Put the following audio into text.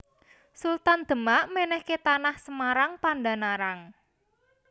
Sultan Demak mènèhké Tanah Semarang Pandan Arang